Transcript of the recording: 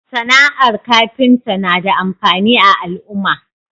SAna ar kafinta na da amfani a al'uma